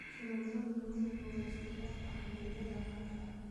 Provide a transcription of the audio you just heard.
Sharoobada Maple waa isku dhafka canjeelada caanka ah.